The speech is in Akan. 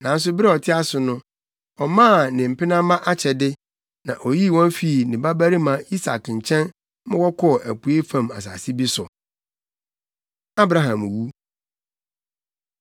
Nanso bere a ɔte ase no, ɔmaa ne mpenamma akyɛde, na oyii wɔn fii ne babarima Isak nkyɛn ma wɔkɔɔ apuei fam asase bi so. Abraham Wu